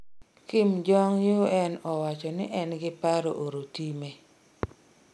Kim Jong -Un owachoni en giparo oro time